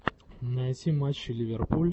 найти матчи ливерпуль